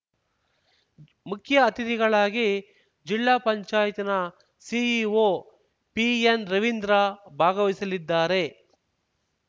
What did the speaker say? ಮುಖ್ಯ ಅತಿಥಿಗಳಾಗಿ ಜಿಲ್ಲಾ ಪಂಚಾಯತ್ ನ ಸಿಇಒ ಪಿಎನ್‌ ರವೀಂದ್ರ ಭಾಗವಹಿಸಲಿದ್ದಾರೆ